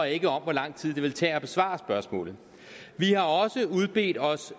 ikke om hvor lang tid det ville tage at besvare spørgsmålet vi har også udbedt os